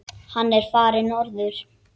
Hann er farinn norður.